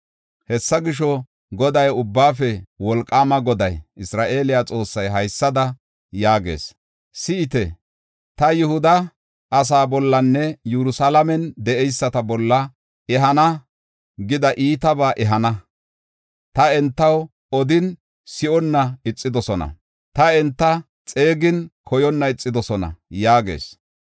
“Hessa gisho, Goday, Ubbaafe Wolqaama Goday, Isra7eele Xoossay haysada yaagees. ‘Si7ite, ta Yihuda asaa bollanne Yerusalaamen de7eyisata bolla ehana gida iitabaa ehana. Ta entaw odin, si7onna ixidosona; ta enta xeegin koyonna ixidosona’ ” yaagees.